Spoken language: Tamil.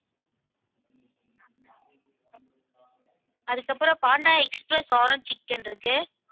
அதுக்கப்புறம் panda express orange chicken இருக்கு